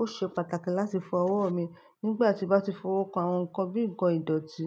ó ṣe pàtàkì láti fọwọ́ mi. Nígbà tí mo bá ti fọwọ́ kan àwọn nǹkan bíi nǹkan ìdọ̀tí,